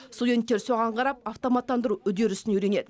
студенттер соған қарап автоматтандыру үдерісін үйренеді